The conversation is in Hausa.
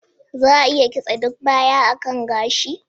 Za a iya kitse duk baya a kan gashi?